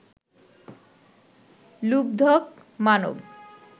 লুব্ধক মানব